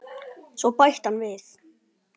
Svo bætti hann við